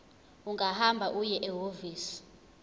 ungahamba uye ehhovisi